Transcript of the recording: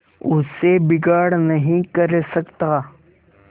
उससे बिगाड़ नहीं कर सकता